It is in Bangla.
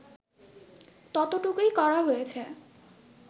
ততটুকুই করা হয়েছে